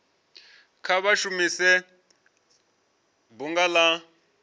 kha vha shumise bunga la